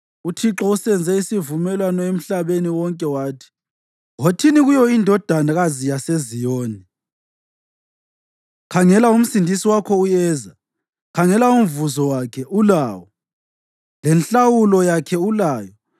UThixo usenze isimemezelo emhlabeni wonke wathi; “Wothini kuyo iNdodakazi yaseZiyoni, ‘Khangela uMsindisi wakho uyeza! Khangela umvuzo wakhe ulawo, lenhlawulo yakhe ulayo.’ ”